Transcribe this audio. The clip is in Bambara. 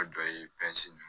A dɔ ye